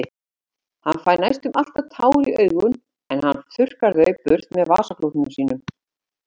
Hann fær næstum alltaf tár í augun en hann þurrkar þau burt með vasaklútnum sínum.